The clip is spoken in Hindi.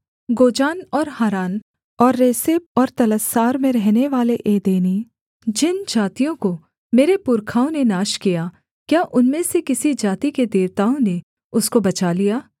गोजान और हारान और रेसेप और तलस्सार में रहनेवाले एदेनी जिन जातियों को मेरे पुरखाओं ने नाश किया क्या उनमें से किसी जाति के देवताओं ने उसको बचा लिया